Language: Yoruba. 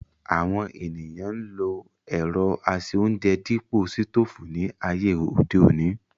Àwọn ènìyàn ń lo ẹ̀rọ ase-óúnjẹ dípò sítòfù ní ayé òde òní